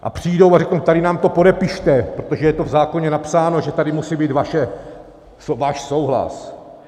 A přijdou a řeknou, tady nám to podepište, protože je to v zákoně napsáno, že tady musí být váš souhlas.